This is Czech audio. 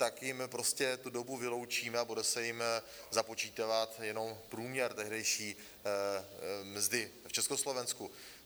Tak jim prostě tu dobu vyloučíme a bude se jim započítávat jenom průměr tehdejší mzdy v Československu.